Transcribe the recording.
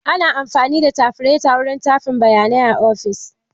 Ana amfani da tafiraita wurin tafin bayanai a ofis.